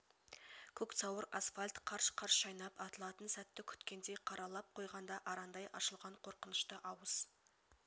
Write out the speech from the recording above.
көк сауыр асфальтт қарш-қарш шайнап атылатын сәтті күткендей қара лап қойғанда арандай ашылған қорқынышты ауыз